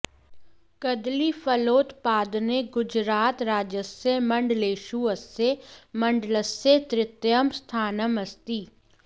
कदलीफलोत्पादने गुजरातराज्यस्य मण्डलेषु अस्य मण्डलस्य तृतीयं स्थानम् अस्ति